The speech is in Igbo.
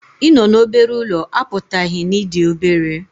Ịnọ n'obere ụlọ apụtaghị na ị dị obere